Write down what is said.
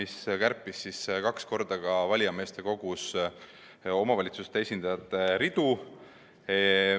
See kärpis valijameeste kogus omavalitsuste esindajate ridu kaks korda.